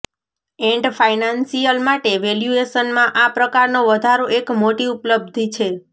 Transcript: એંટ financial માટે વેલ્યૂએશનમાં આ પ્રકારનો વધારો એક મોટી ઉપ્લબ્ધી છે